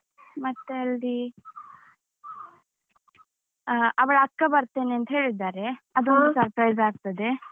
ಮತ್ತೆ ಅಲ್ಲಿ ಹ ಅವಳ ಅಕ್ಕ ಬರ್ತೇನೆ ಅಂತ ಹೇಳಿದ್ದಾರೆ. ಅದೂ ಒಂದು surprise ಆಗ್ತದೆ.